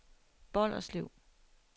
Bolderslev